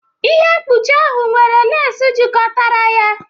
Ihe mkpuchi ahụ nwere lace jikọtara ya